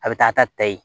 A bɛ taa ta ta yen